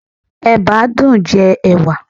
Ẹ̀bá dùn-ún jẹ ẹ̀wà.